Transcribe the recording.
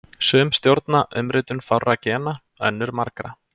Sum stjórna umritun fárra gena, önnur margra.